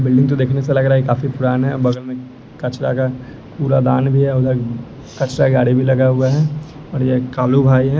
Building तो देखने से लग रहा है काफी पुराना है बगल में कचरा का कूड़ादान भी है उधर कचड़ा गाड़ी भी लगा हुआ है और ये कालू भाई है।